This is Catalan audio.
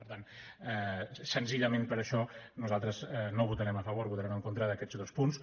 per tant senzillament per això nosaltres no hi votarem a favor votarem en contra d’aquests dos punts